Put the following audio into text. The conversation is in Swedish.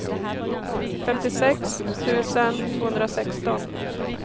femtiosex tusen tvåhundrasexton